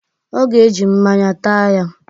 Ọ ga-eji mmaǹya taa ya.